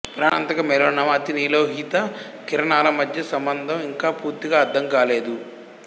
ప్రాణాంతక మెలనోమా అతినీలలోహిత కిరణాల మధ్య సంబంధం ఇంకా పూర్తిగా అర్థం కాలేదు